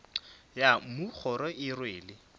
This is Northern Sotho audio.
ya mmu kgoro e rwele